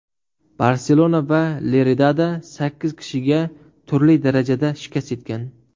Barselona va Leridada sakkiz kishiga turli darajada shikast yetgan.